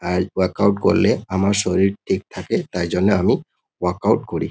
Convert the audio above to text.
আর work out করলে আমার শরীর ঠিক থাকে তাই জন্য আমি ওয়ার্ক আউট -করি।